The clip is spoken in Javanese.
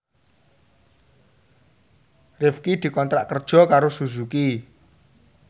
Rifqi dikontrak kerja karo Suzuki